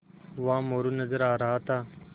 वहाँ मोरू नज़र आ रहा था